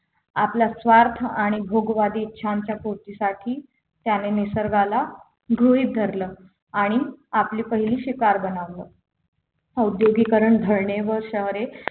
आपला स्वार्थ आणि भोगवादी इच्छांच्या पूर्तीसाठी त्यांनी निसर्गाला गृहीत धरलं आणि आपली पहिली शिकार बनवलं औद्योगीकरण धरणे व शहरे